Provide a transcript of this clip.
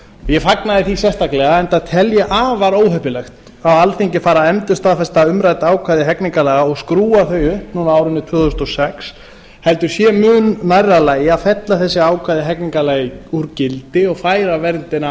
ég fagnaði því sérstaklega enda tel ég afar óheppilegt að alþingi fari að endurstaðfesta umrædd ákvæði hegningarlaga og skrúfa þau upp núna á árinu tvö þúsund og sex heldur sé mun nærri lagi að fella þessi ákvæði hegningarlaga úr gildi og færa verndina